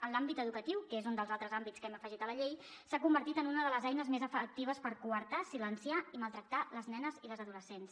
en l’àmbit educatiu que és un dels altres àmbits que hem afegit a la llei s’ha convertit en una de les eines més efectives per coartar silenciar i maltractar les nenes i les adolescents